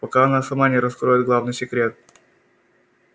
пока она сама не раскроет главный секрет